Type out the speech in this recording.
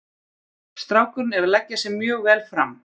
Strákurinn er að leggja sig mjög vel fram.